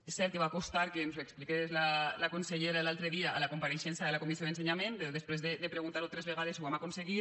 és cert que va costar que ens ho expliqués la consellera l’altre dia a la compareixença de la comissió d’ensenyament després de preguntar ho tres vegades ho vam aconseguir